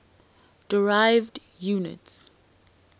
derived units